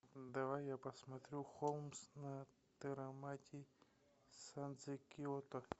давай я посмотрю холмс на тэрамати сандзе киото